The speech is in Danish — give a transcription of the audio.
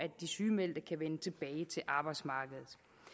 sygemeldte kan vende tilbage til arbejdsmarkedet